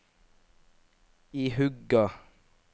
ihuga